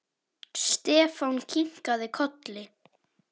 Stefán kinkaði kolli.